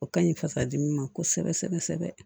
O ka ɲi fasa dimi ma kosɛbɛ kosɛbɛ